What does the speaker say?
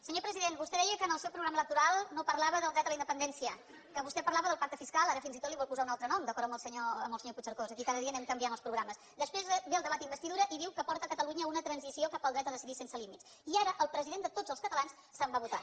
senyor president vostè deia que en el seu programa electoral no parlava del dret a la independència que vostè parlava del pacte fiscal ara fins i tot li vol posar un altre nom d’acord amb el senyor puigcercós aquí cada dia anem canviant els programes després ve el debat d’investidura i diu que porta catalunya a una transició cap al dret a decidir sense límits i ara el president de tots els catalans se’n va a votar